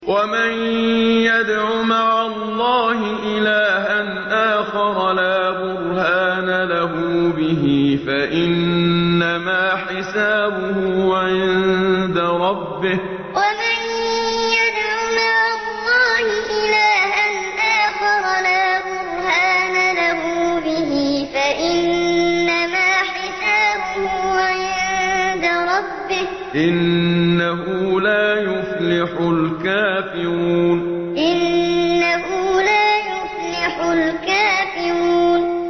وَمَن يَدْعُ مَعَ اللَّهِ إِلَٰهًا آخَرَ لَا بُرْهَانَ لَهُ بِهِ فَإِنَّمَا حِسَابُهُ عِندَ رَبِّهِ ۚ إِنَّهُ لَا يُفْلِحُ الْكَافِرُونَ وَمَن يَدْعُ مَعَ اللَّهِ إِلَٰهًا آخَرَ لَا بُرْهَانَ لَهُ بِهِ فَإِنَّمَا حِسَابُهُ عِندَ رَبِّهِ ۚ إِنَّهُ لَا يُفْلِحُ الْكَافِرُونَ